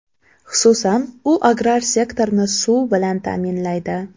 Xususan, u agrar sektorni suv bilan ta’minlaydi.